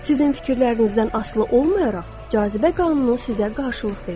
Sizin fikirlərinizdən asılı olmayaraq, cazibə qanunu sizə qarşılıq verir.